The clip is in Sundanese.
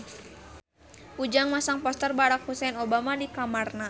Ujang masang poster Barack Hussein Obama di kamarna